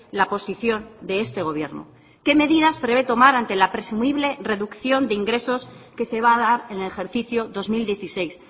la posición de este gobierno qué medidas prevé tomar ante la presumible reducción de ingresos que se va a dar en el ejercicio dos mil dieciséis